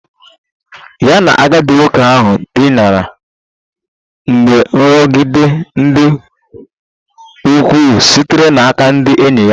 Ya na agadi nwoke ahụ dina mgbe nrụgide dị ukwuu sitere n'aka ndị enyi ya